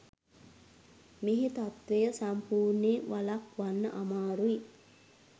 මේ තත්ත්වය සම්පූර්ණයෙන් වළක්වන්න අමාරුයි.